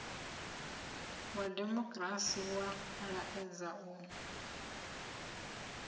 wa dimokirasi wa laedza u